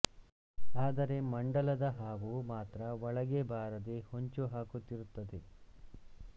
ಆದರೆ ಮಂಡಲದ ಹಾವು ಮಾತ್ರ ಒಳಗೆ ಬರದೇ ಹೊಂಚು ಹಾಕುತ್ತಿರುತ್ತದೆ